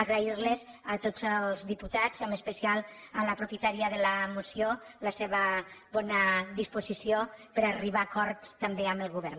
a grair los a tots els diputats i en especial a la propietària de la moció la seva bona disposició per a arribar a acords també amb el govern